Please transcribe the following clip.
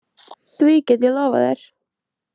Því get ég lofað þér.